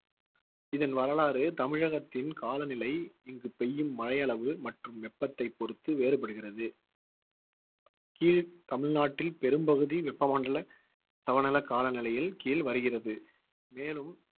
இதன் வரலாறு தமிழகத்தின் காலநிலை இங்கு பெய்யும் மழையளவு மற்றும் வெப்பத்தைப் பொறுத்து வேறுபடுகிறது கீழ் தமிழ்நாட்டில் பெரும்பகுதி வெப்பமண்டல சவநிலை காலநிலையில் கீழ் வருகிறது. மேலும்